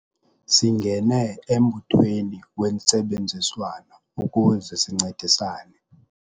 Singene embuthweni wentsebenziswano ukuze sincedisane.